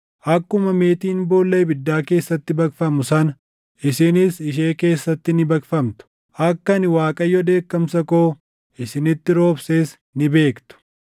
Akkuma meetiin boolla ibiddaa keessatti baqfamu sana, isinis ishee keessatti ni baqfamtu; akka ani Waaqayyo dheekkamsa koo isinitti roobses ni beektu.’ ”